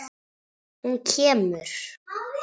Hún kemur!